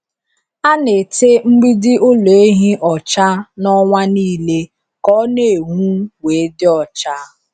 A na-ete mgbidi ụlọ ehi ọcha na ọnwa nile ka o na-enwu we dị ọcha.